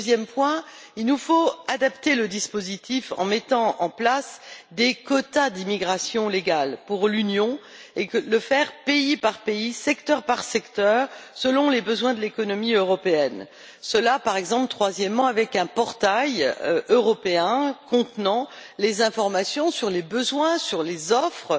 Deuxième point il nous faut adapter le dispositif en mettant en place des quotas d'immigration légale pour l'Union et le faire pays par pays, secteur par secteur, selon les besoins de l'économie européenne, cela, par exemple, troisièmement, avec un portail européen contenant les informations sur les besoins, sur les offres